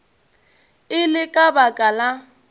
e le ka baka la